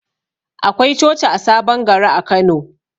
Akwai coci a sabon gari a Kano.